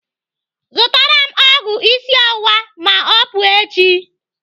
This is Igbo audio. Zụtara m ọgwụ isi ọwụwa ma ọ pụọ echi.